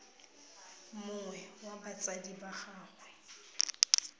mongwe wa batsadi ba gagwe